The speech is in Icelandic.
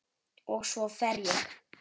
Og svo fer ég.